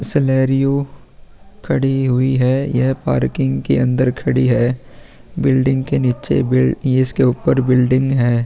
Celerio खड़ी हुई है ये पार्किंग के अंदर खड़ी है बिल्डिंग के नीचे में ये इसके ऊपर बिल्डिंग है।